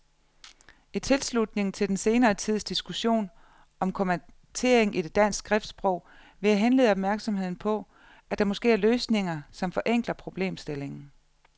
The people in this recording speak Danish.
I tilslutning til den senere tids diskussion om kommatering i dansk skriftsprog vil jeg henlede opmærksomheden på, at der måske er løsninger, som forenkler problemstillingen.